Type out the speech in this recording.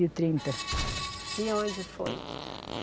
E trinta. E onde foi?